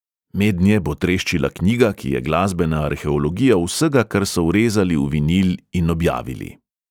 Mednje bo treščila knjiga, ki je glasbena arheologija vsega, kar so vrezali v vinil in objavili.